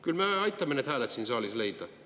Küll me aitame need hääled siin saalis leida.